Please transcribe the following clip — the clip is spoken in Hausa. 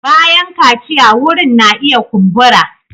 Bayan kaciya wurin na iya kumbura.